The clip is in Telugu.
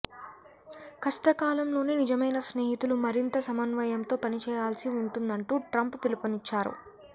కష్టకాలంలోనే నిజమైన స్నేహితులు మరింత సమన్వయంతో పనిచేయాల్సి ఉంటందంటూ ట్రంప్ పిలుపునిచ్చారు